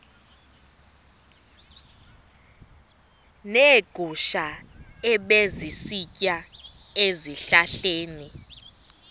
neegusha ebezisitya ezihlahleni